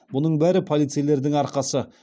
бұның бәрі полицейлердің арқасы